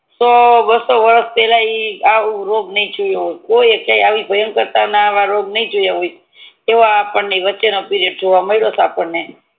વારસો વરસ પેલા આ રોગ ને જોયું હોય કોઈએ કઈ આવી ભયંકાર ટાઇમ રોગ ને જોયું હોય એવો આપડને વચે નો પિરીઓડ જોવા માળીઓટો